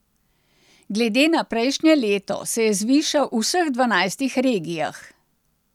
Glede na prejšnje leto se je zvišal v vseh dvanajstih regijah.